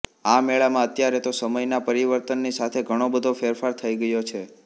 આ મેળામાં અત્યારે તો સમયનાં પરિવર્તનની સાથે ઘણોબધો ફેરફાર થઈ ગયો છે